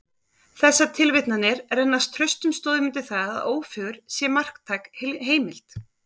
Þessar tilvitnanir renna traustum stoðum undir það, að Ófeigur sé marktæk heimild.